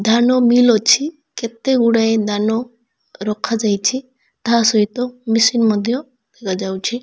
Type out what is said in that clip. ଧାନ ମିଲ ଅଛି କେତେ ଗୁଡ଼ାଏ ଧାନ ରଖା ଯାଇଛି ତା ସହିତ ମେସିନ୍ ମଧ୍ୟ ରଖା ଯାଉଚି।